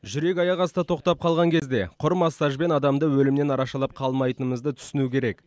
жүрек аяқ асты тоқтап қалған кезде құр массажбен адамды өлімнен арашалап қалмайтынымызды түсіну керек